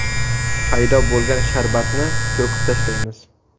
Paydo bo‘lgan sharbatni to‘kib tashlaymiz.